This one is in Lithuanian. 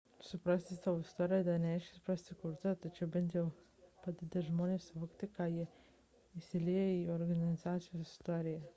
suprasti savo istoriją dar nereiškia suprasti kultūrą tačiau tai bent jau padeda žmonėms suvokti kaip jie įsilieja į organizacijos istoriją